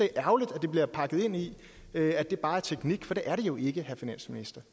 ærgerligt at det bliver pakket ind i at det bare er teknik for det er det jo ikke herre finansminister